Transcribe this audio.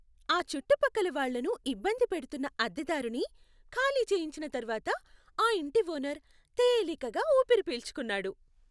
ఆ చుట్టుపక్కల వాళ్ళను ఇబ్బంది పెడుతున్న అద్దెదారుని ఖాళీ చేయించిన తర్వాత ఆ ఇంటి ఓనర్ తేలికగా ఊపిరి పీల్చుకున్నాడు.